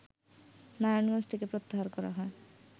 নারায়ণগঞ্জ থেকে প্রত্যাহার করা হয়